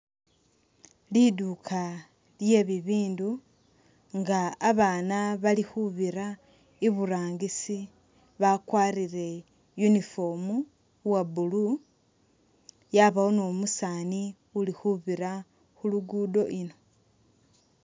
Liduuka lye'bibindu nga abaana bali khubira iburangisi bakwarile uniform uwa blue yabaawo ne umusaani uli uli khubiira khu'luguudo ino